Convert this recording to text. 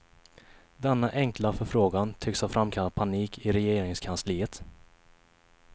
Denna enkla förfrågan tycks ha framkallat panik i regeringskansliet.